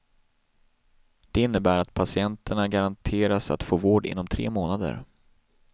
Det innebär att patienterna garanteras att få vård inom tre månader.